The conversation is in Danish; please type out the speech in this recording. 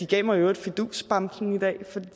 gav mig fidusbamsen